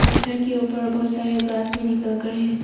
पत्थर के ऊपर बहुत सारे ग्रास भी निकल कर है।